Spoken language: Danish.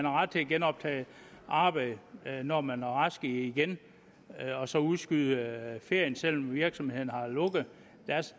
ret til at genoptage arbejdet når man er rask igen og så udskyde ferien selv om virksomheden har lukket